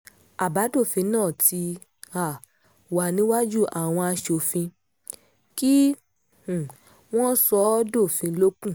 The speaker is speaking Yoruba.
àbádòfin náà ti um wà níwájú àwọn aṣòfin kí um wọ́n sọ ọ́ dófin ló kù